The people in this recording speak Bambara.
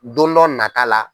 Don dɔ nata la